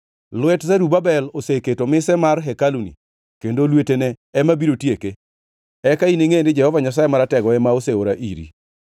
“Lwet Zerubabel oseketo mise mar hekaluni kendo lwetene ema biro tieke. Eka iningʼe ni Jehova Nyasaye Maratego ema oseora iri.